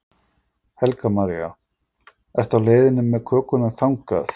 Helga María: Ertu á leiðinni með kökuna þangað?